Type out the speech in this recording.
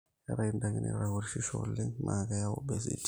keetae indaikii naitopirisho oleng naa keyau obesity